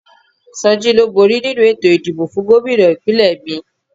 Soji ló bóri nínu ètò ìdìbò fún Gómìnà ìpínlẹ̀ mi